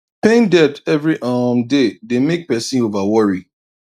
paying debt every um day dey make person over worry